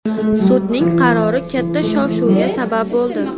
Sudning qarori katta shov-shuvga sabab bo‘ldi.